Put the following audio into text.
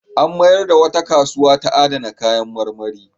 An mayar da wata kasuwa ta adana kayan marmari.